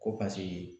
Ko paseke